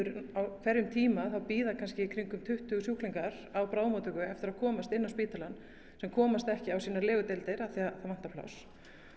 á hverjum tíma bíða kannski í kringum tuttugu sjúklingar á bráðamóttöku eftir því að komast á spítalann sem komast ekki á sínar legudeildir að það vantar pláss